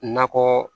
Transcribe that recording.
Nakɔ